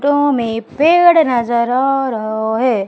तो हमें पेड़ नजर आ रहा है।